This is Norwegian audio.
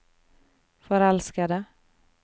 forelskede